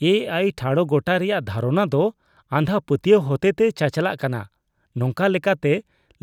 ᱮ ᱟᱭ ᱴᱷᱟᱲᱚᱜᱚᱴᱟᱭ ᱨᱮᱭᱟᱜ ᱫᱷᱟᱨᱚᱱᱟ ᱫᱚ ᱟᱸᱫᱷᱟ ᱯᱟᱹᱛᱭᱟᱹᱣ ᱦᱚᱛᱮᱛᱮ ᱪᱟᱪᱟᱞᱟᱜ ᱠᱟᱱᱟ, ᱱᱚᱝᱠᱟ ᱞᱮᱠᱟᱛᱮ